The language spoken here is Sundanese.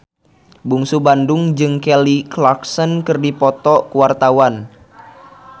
Bungsu Bandung jeung Kelly Clarkson keur dipoto ku wartawan